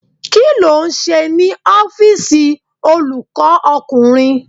Kí ló ń ṣe ní ọ́fíìsì olùkọ́ ọkùnrin?